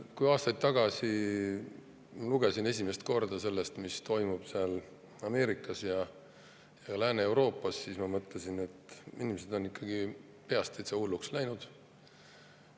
Kui aastaid tagasi lugesin ma esimest korda sellest, mis toimub Ameerikas ja Lääne-Euroopas, siis ma mõtlesin, et inimesed on ikka peast täitsa hulluks läinud.